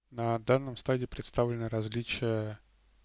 на данном стаде представлено различия